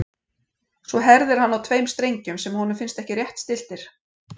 Svo herðir hann á tveim strengjum sem honum finnst ekki rétt stilltir.